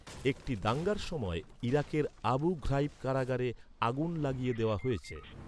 একটি দাঙ্গার সময় ইরাকের আবু ঘ্রাইব কারাগারে আগুন লাগিয়ে দেওয়া হয়েছে।